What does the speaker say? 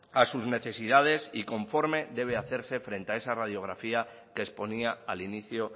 a sus necesidades y conforme debe hacerse frente a esa radiografía que exponía al inicio